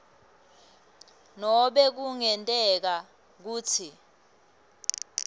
nobe kungenteka kutsi